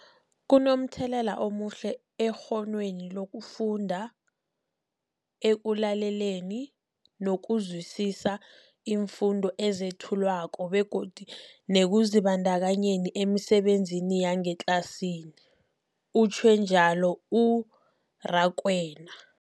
Kunomthelela omuhle ekghonweni lokufunda, ekulaleleni nokuzwisiswa iimfundo ezethulwako begodu nekuzibandakanyeni emisebenzini yangetlasini, utjhwe njalo u-Rakwena.